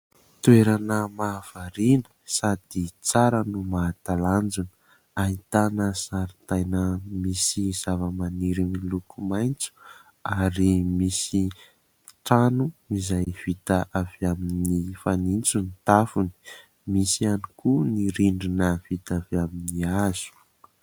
Toerana mahavariana sady tsara no mahatalanjona, ahitana zaridaina misy zavamaniry miloko maitso ary misy trano izay vita avy amin'ny fanitso ny tafony. Misy ihany koa ny rindrina vita avy amin'ny hazo.